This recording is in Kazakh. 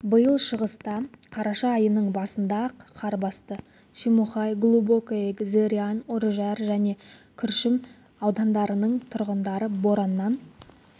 биыл шығыста қараша айының басында-ақ қар басты шемонайха глубокое зырян үржар және күршім аудандарының тұрғындары бораннан